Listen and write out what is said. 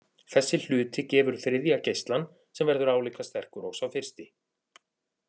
Þessi hluti gefur þriðja geislann sem verður álíka sterkur og sá fyrsti.